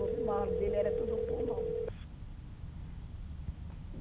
O mal dele era tudo pulmão.